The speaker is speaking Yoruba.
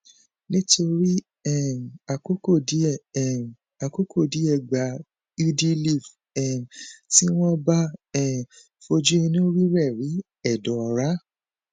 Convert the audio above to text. nítorí um àkókò díẹ um àkókò díẹ gba udiliv um tí wọn bá um fojú inú rírẹẹ rí ẹdọ ọra